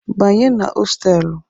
Banye na hostelụ!